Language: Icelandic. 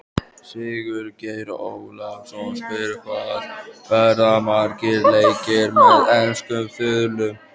Sigurgeir Ólafsson spyr: Hvað verða margir leikir með enskum þulum?